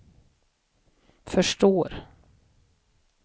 förstår